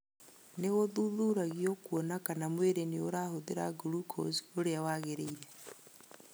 Nĩ gũthuthuragio kwona kana mwĩrĩ ni ũrahũthĩra glucose ũrĩa wagĩrĩire.